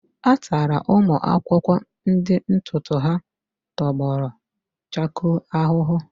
A tara ụmụ akwụkwọ ndị ntutu ha tọgbọrọ chakoo ahụhụ.